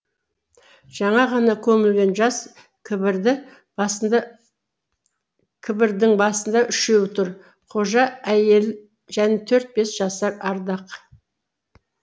жаңа ғана көмілген жас кібірдің басында үшеу тұр қожа әйел және төрт бас жасар ардақ